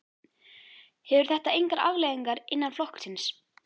Hefur þetta engar afleiðingar innan flokksins?